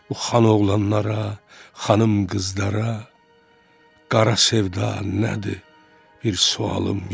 Bu xanoğlanlara, xanım qızlara qara sevda nədir bir sualım yox.